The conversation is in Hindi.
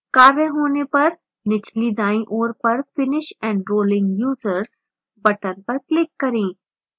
कार्य होने पर निचली दायीँ ओर पर finish enrolling users button पर click करें